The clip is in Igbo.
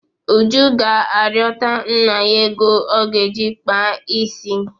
Uju ga-arịọta nna ya ego ọ ga-eji kpaa isi.